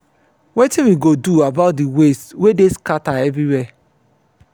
wetin we go do about the waste wey dey scatter everywhere?